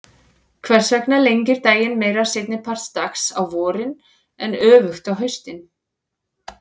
Hvers vegna lengir daginn meira seinni part dags á vorin en öfugt á haustin?